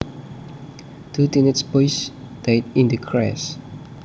Two teenage boys died in the crash